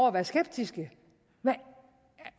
at være skeptiske